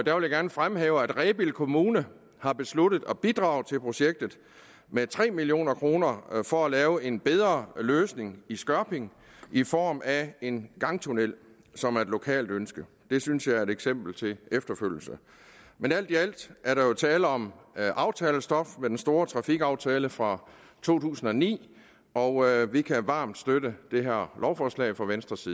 jeg vil gerne fremhæve at rebild kommune har besluttet at bidrage til projektet med tre million kroner for at lave en bedre løsning i skørping i form af en gangtunnel som er et lokalt ønske det synes jeg er et eksempel til efterfølgelse men alt i alt er der jo tale om aftalestof fra den store trafikaftale fra to tusind og ni og vi kan varmt støtte det her lovforslag fra venstres